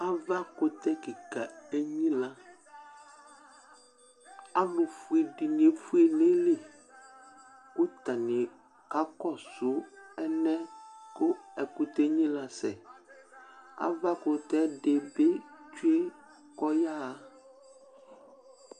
Avakʋtɛ kɩka dɩ enyɩlǝ Alʋfue dɩnɩ efue nʋ ayili, kʋ atanɩ aka kɔsʋ alɛna yɛ kʋ ɛkʋtɛ yɛ enyɩlǝ sɛ Avakʋtɛ dɩnɩ bɩ tsʋe kʋ ayaɣa